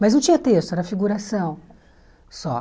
Mas não tinha texto, era figuração só.